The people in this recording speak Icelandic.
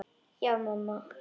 Já, mamma.